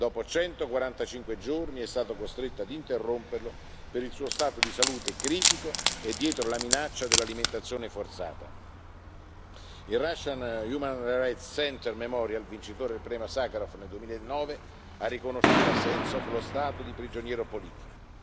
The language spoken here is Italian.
Dopo 145 giorni è stato costretto a interromperlo per il suo stato di salute critico e dietro la minaccia dell'alimentazione forzata. Il Russian Human Rights Center Memorial, vincitore del premio Sacharov nel 2009, ha riconosciuto a Sentsov lo status di prigioniero politico.